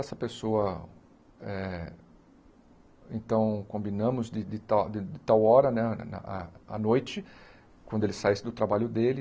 Essa pessoa...É então, combinamos de de tal de tal hora né, à à noite, quando ele saísse do trabalho dele.